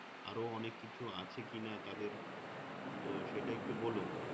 আরও অনেককিছু আছে কিনা তাদের তো সেটা একটু বলো